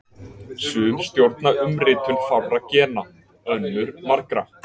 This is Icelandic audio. Sum stjórna umritun fárra gena, önnur margra.